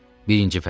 Birinci fəsil.